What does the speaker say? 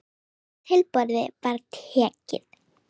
Hæsta tilboði var tekið.